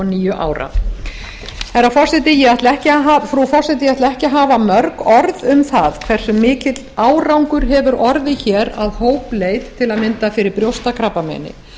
níu ára frú forseti ég ætla ekki að hafa mörg orð um það hversu mikill árangur hefur orðið að hópleit til að mynda fyrir brjóstakrabbameini